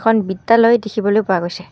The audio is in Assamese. ওৱান বিদ্যালয় দেখিবলৈ পোৱা গৈছে।